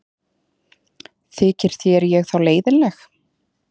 Þykir þér ég þá leiðinleg?